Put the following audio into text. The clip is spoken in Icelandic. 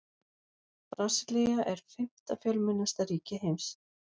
Brasilía er fimmta fjölmennasta ríki heims.